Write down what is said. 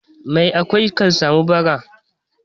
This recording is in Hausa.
Mai akwai kan sami bara.